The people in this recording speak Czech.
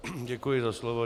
Děkuji za slovo.